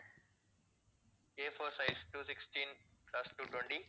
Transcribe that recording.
Afour size two sixteen plus two twenty